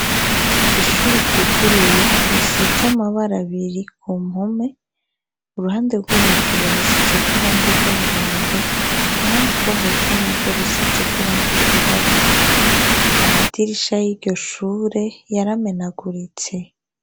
Ishuri ryuguruye risize amabara zbiri ku mpome uruhande rwo hejuru hasizeko irangi ry'umuhondo uruhande rwo hepfo nagwo rusizeko iranga ryirabura amadirisha y'iryo shure yaramenaguritse.